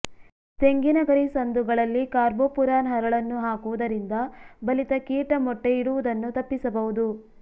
ತೆಂಗಿನ ಗರಿ ಸಂದುಗಳಲ್ಲಿ ಕಾರ್ಬೋಪುರಾನ್ ಹರಳನ್ನು ಹಾಕುವುದರಿಂದ ಬಲಿತ ಕೀಟ ಮೊಟ್ಟೆ ಇಡುವುದನ್ನು ತಪ್ಪಿಸಬಹುದು